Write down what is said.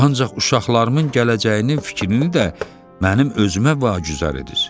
Ancaq uşaqlarımın gələcəyinin fikrini də mənim özümə vacüzər edir.